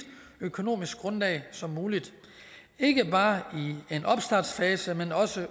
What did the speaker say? økonomisk grundlag som muligt ikke bare i en opstartsfase men også